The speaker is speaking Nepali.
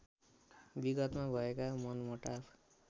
विगतमा भएका मनमुटाव